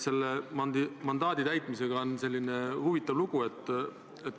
Selle mandaadi täitmisega on huvitav lugu.